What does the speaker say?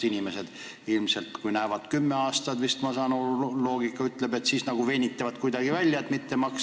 Kui inimesed teavad, et nõue on jõus kümme aastat, siis loogika ütleb, et nad püüavad venitada, et raha mitte maksta.